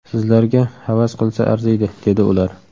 Sizlarga havas qilsa arziydi’, dedi ular.